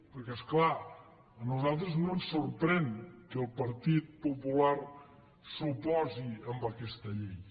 perquè és clar a nosaltres no ens sorprèn que el partit popular s’oposi a aquesta llei